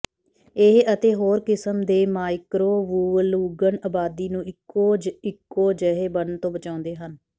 ਇਹ ਅਤੇ ਹੋਰ ਕਿਸਮ ਦੇ ਮਾਈਕ੍ਰੋਵੂਵਲੁਗਨ ਆਬਾਦੀ ਨੂੰ ਇਕੋ ਇਕੋ ਜਿਹੇ ਬਣਨ ਤੋਂ ਬਚਾਉਂਦੇ ਹਨ